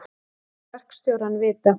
Ég lét verkstjórann vita.